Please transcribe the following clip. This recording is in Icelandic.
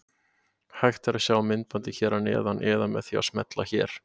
Hægt er að sjá myndbandið hér að neðan eða með því að smella hér.